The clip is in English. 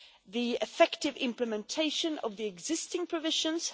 the effective implementation of the existing provisions